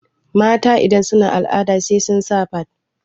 mata idan suna al'ada sai sun sa fad